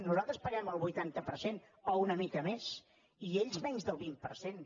nosaltres paguem el vuitanta per cent o una mica més i ells menys del vint per cent